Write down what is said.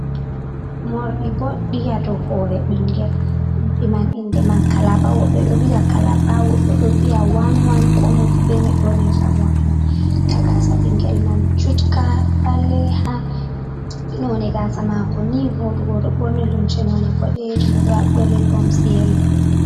Morɗi boɗɗi ha dou hoore ɓingel, morɗi man inde man kalaba, woɓɓe ɗo viya kalaba woɓɓe ɗo viya wan wan, komoi fu be no yonirta morɗi man, nda gaasa ɓingel man jutka ɓaleha none gaasa mako ni voɗugo. Oɗo ɓorni lumce none boɗeejum, oɗo haɓɓi ribbons yelo.